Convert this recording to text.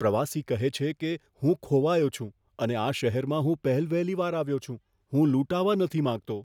પ્રવાસી કહે છે કે, હું ખોવાયો છું અને આ શહેરમાં હું પહેલવહેલી વાર આવ્યો છું. હું લૂંટાવા નથી માંગતો.